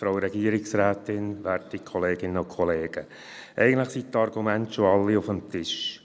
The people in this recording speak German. Eigentlich liegen bereits sämtliche Argumente auf dem Tisch.